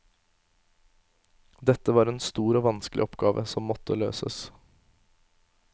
Dette var en stor og vanskelig oppgave som måtte løses.